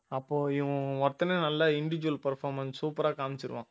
அப்போ இவன் ஒருத்தனே நல்ல individual performance சூப்பரா காமிச்சிருவான்